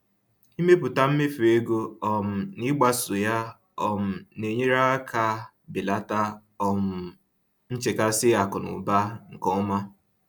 Ịmepụta mmefu ego um na ịgbaso ya um na-enyere aka belata um nchekasị akụnaụba nke ọma